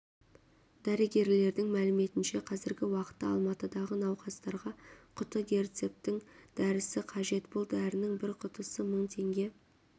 дәрігерлердің мәліметінше қазіргі уақытта алматыдағы науқастарға құты герцептин дәрісі қажет бұл дәрінің бір құтысы мың теңге